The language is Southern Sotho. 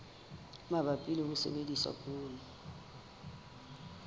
mabapi le ho sebedisa poone